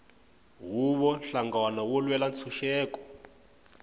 huvo nhlangano wo lwela ntshuxeko